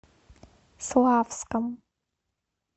славском